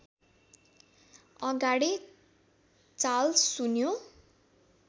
अगाडि चाल सुन्यो